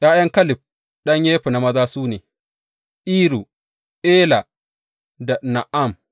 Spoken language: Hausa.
’Ya’yan Kaleb ɗan Yefunne maza su ne, Iru, Ela da Na’am.